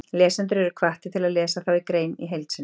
Lesendur eru hvattir til að lesa þá grein í heild sinni.